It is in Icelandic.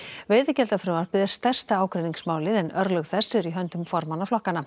veiðigjaldafrumvarpið er stærsta ágreiningsmálið en örlög þess eru í höndum formanna flokkanna